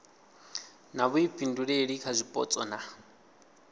na vhuifhinduleli kha zwipotso na